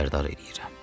Xəbərdar eləyirəm.